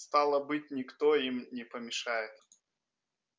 стало быть никто им не помешает